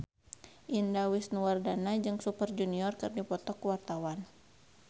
Indah Wisnuwardana jeung Super Junior keur dipoto ku wartawan